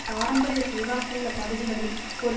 பாரம்பரிய செல்வாக்குள்ள பகுதிகளில் ஒரு